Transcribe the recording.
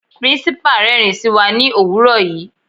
Principal rẹ́rin sí wa ní òwúrọ̀ yìí.